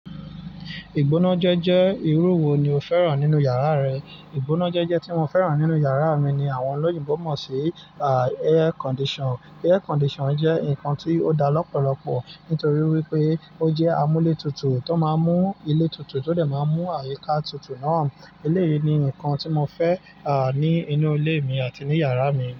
Ìgbóná jẹ́jẹ́ irú wo ni o fẹ́ràn nínú yàrá rẹ? Ìgbóná jẹ́jẹ́ tí mo fẹ́ràn nínú yàrá mi ni àwọn olóyìnbo mọ̀ sí air condition. Air condition jẹ́ nǹkan tí ó dá lọ́pọ̀lọpọ̀ nítorí wípé ó jẹ́ amúlé tutù tó máa ń mú ilé tutù tó dè máa ń mú àyíká tutù náà. Ilé yìí ni ǹkan tí mo fẹ́, à, ní inú ilé mi àti ní yàrá mi.